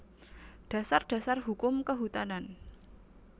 Dasar Dasar Hukum Kehutanan